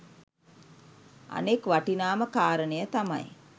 අනෙක් වටිනාම කාරණය තමයි